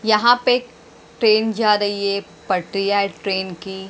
यहां पे एक ट्रेन जा रही है पटरियां है ट्रेन की।